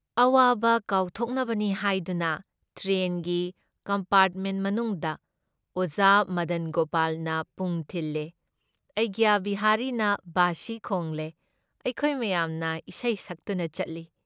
ꯑꯋꯥꯕ ꯀꯥꯎꯊꯣꯛꯅꯕꯅꯤ ꯍꯥꯏꯗꯨꯅ ꯇ꯭ꯔꯦꯟꯒꯤ, ꯀꯝꯄꯥꯔꯠꯃꯦꯟꯠ ꯃꯅꯨꯡꯗ ꯑꯣꯖꯥ ꯃꯗꯟ ꯒꯣꯄꯥꯜꯅ ꯄꯨꯡ ꯈꯤꯜꯂꯦ, ꯑꯩꯒ꯭ꯌꯥ ꯕꯤꯍꯥꯔꯤꯅ ꯋꯥꯁꯤ ꯈꯣꯡꯂꯦ , ꯑꯩꯈꯣꯏ ꯃꯌꯥꯝꯅ ꯏꯁꯩ ꯁꯛꯇꯨꯅ ꯆꯠꯂꯤ ꯫